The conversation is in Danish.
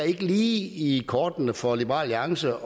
lige i kortene for liberal alliance